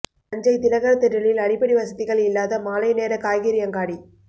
தஞ்சை திலகர் திடலில் அடிப்படை வசதிகள் இல்லாத மாலைநேர காய்கறி அங்காடி